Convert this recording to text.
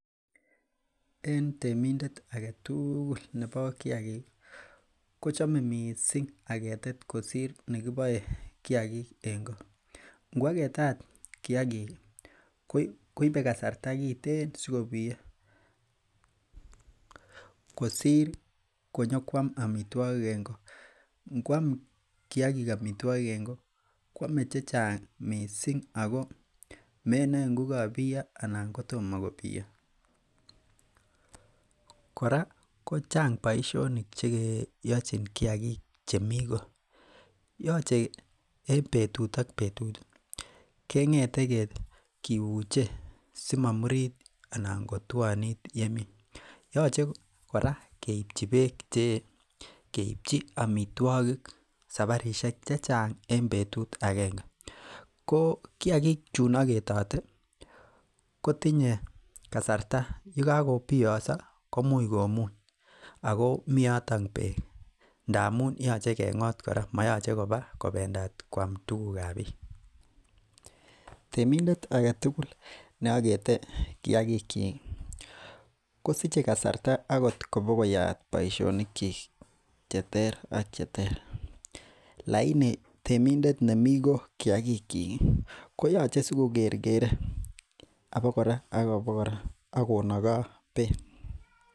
En temindet agetugul nebo kiagik ih kochame missing agetet kosir nekiboe kiagik en ko. Inguaketat kiagik koibe kasarta kiteen asikobiyo kosir konyokuam amituakik en ko. Nguam kiagik amituogik en ko kuame chechang' missing' ako menae ngokabiyo anan kotoma kobiyo kora kochang boisionik cheyachen kiagik che mi ko. Yoche en betut ak betut it keng'ete kibuche simomurit anan kotuanit yemii. Yoche kora keibchin beek chee akeibchi amituakik sabarisiek chechang en betut akenge. Ko kiagik chuun agetate ko tinye kasarta yekakobiyoso komuche komuuny. Ako mi yoton beek ndamuun moyoche kora kobendat matkoam tugukab bik . Temindet neakete kiagik chik kosiche kasarta akot kobokoyaat boisionikchik cheter ak cheter laini temindet nemi ko kiagik koyoche si ko kerkere abokora ak abokora akonagaa beek.